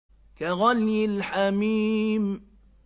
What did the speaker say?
كَغَلْيِ الْحَمِيمِ